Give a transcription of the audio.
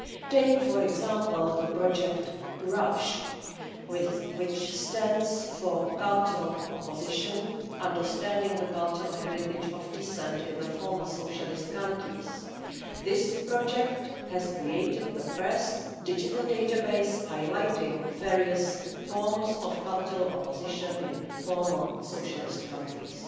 Take, for example, the project COURAGE which stands for Cultural Opposition Understanding the Cultural Heritage of Dissent in the Former Socialist Countries. This project has created the first digital database highlighting various forms of cultural opposition in former socialist countries.